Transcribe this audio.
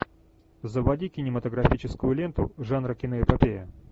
заводи кинематографическую ленту жанра киноэпопея